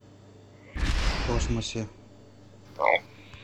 в космосе